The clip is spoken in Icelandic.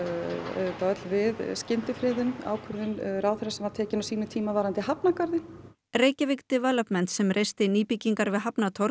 auðvitað öll við skyndifriðun ákvörðun ráðherra sem var tekin á sínum tíma varðandi hafnargarðinn Reykjavík Developments sem reisti nýbyggingar við